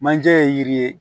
Manje ye yiri ye